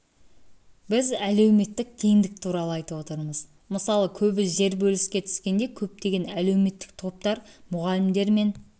біз әлеуметтік теңдік туралы айтып отырмыз мысалы көбі жер бөліске түскенде көптеген әлеуметтік топтар мұғалімдер мен